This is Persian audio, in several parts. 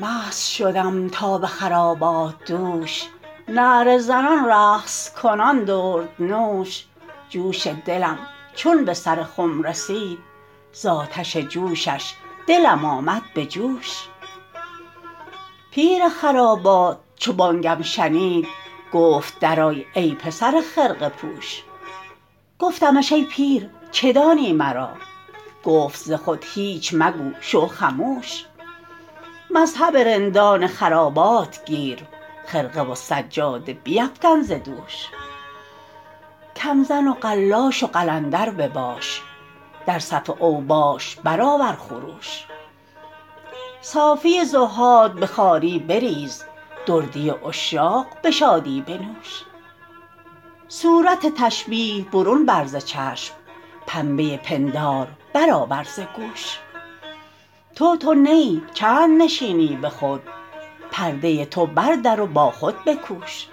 مست شدم تا به خرابات دوش نعره زنان رقص کنان دردنوش جوش دلم چون به سر خم رسید زآتش جوشش دلم آمد به جوش پیر خرابات چو بانگم شنید گفت درآی ای پسر خرقه پوش گفتمش ای پیر چه دانی مرا گفت ز خود هیچ مگو شو خموش مذهب رندان خرابات گیر خرقه و سجاده بیفکن ز دوش کم زن و قلاش و قلندر بباش در صف اوباش برآور خروش صافی زهاد به خواری بریز دردی عشاق به شادی بنوش صورت تشبیه برون بر ز چشم پنبه پندار برآور ز گوش تو تو نه ای چند نشینی به خود پرده تو بردر و با خود بکوش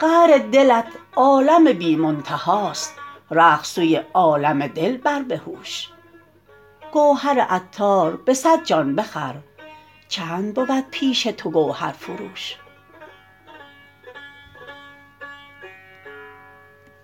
قعر دلت عالم بی منتهاست رخت سوی عالم دل بر بهوش گوهر عطار به صد جان بخر چند بود پیش تو گوهر فروش